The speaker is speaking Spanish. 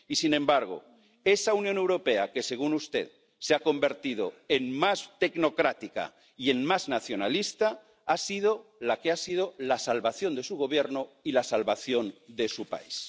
Y, sin embargo, esa Unión Europea que, según usted, se ha convertido en más tecnocrática y en más nacionalista ha sido la salvación de su Gobierno y la salvación de su país.